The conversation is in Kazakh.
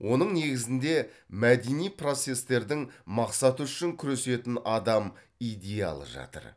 оның негізінде мәдени процестердің мақсаты үшін күресетін адам идеалы жатыр